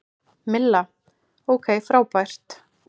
Milla: Ok frábært.